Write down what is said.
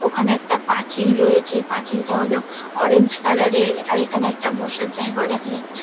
ওখানে একটা পাচিল রয়েছে পাচিলটা হল অরেঞ্জ কালার -এর আর এখানে একটা বসার জায়গাও দেখা যাচ্ছে।